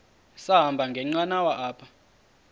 sahamba ngenqanawa apha